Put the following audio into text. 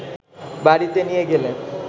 বাড়িতে নিয়ে গেলে